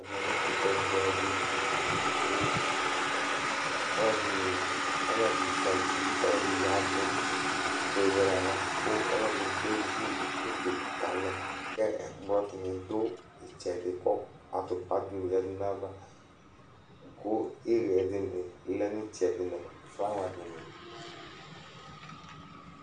Ɛkʋtɛ bʋɛ dɩ, ɔlɔdɩ zǝti, kʋ ɔlɔdɩ yavu kewele aɣla, kʋ alu ɛdɩnɩ kevu utoku ka alɛ Kʋ ɛkplɔ dini du ɩtsɛdɩ, kʋ atupa dini yǝdu nʋ ayava, kʋ ɩɣɛ dini lɛ nʋ ɩtsɛdɩ nʋ flawa dini